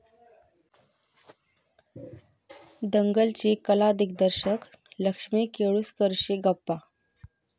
दंगल'ची कला दिग्दर्शक लक्ष्मी केळुसकरशी गप्पा